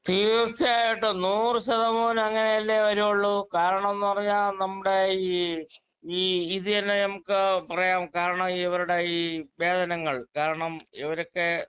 speaker 2 തീർച്ചയായിട്ടും നൂറു ശതമാനം അങ്ങനെ അല്ലെ വരുവൊള്ളൂ കാരണം ന്ന് പറഞ്ഞ നമ്മുടെ ഈ ഇതുതന്നെ നമുക്ക് പറയാം കാരണം ഇവരുടെ ഈ വേതനങ്ങൾ കാരണം ഇവരൊക്കെ